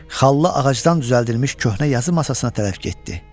Xallı ağacdan düzəldilmiş köhnə yazı masasına tərəf getdi.